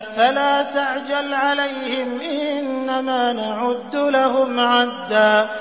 فَلَا تَعْجَلْ عَلَيْهِمْ ۖ إِنَّمَا نَعُدُّ لَهُمْ عَدًّا